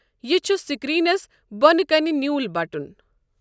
یہِ چُھ سٕکریٖنَس بۄنہٕ کنہِ نیٛوٗل بَٹُن۔